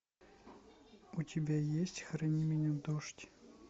у тебя есть храни меня дождь